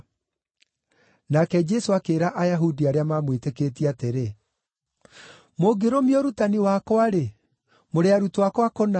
Nake Jesũ akĩĩra Ayahudi arĩa maamwĩtĩkĩtie atĩrĩ, “Mũngĩrũmia ũrutani wakwa-rĩ, mũrĩ arutwo akwa kũna.